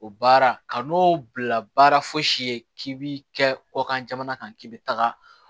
O baara ka n'o bila baara fosi ye k'i bi kɛ kɔkan jamana kan k'i bɛ taga